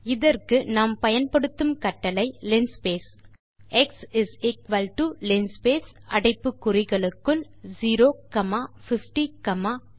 இதற்கு நாம் பயன்படுத்தும் கட்டளை linspace x is equal to linspace அடைப்பு குறிகளுக்குள் 05010 என டைப் செய்வோம்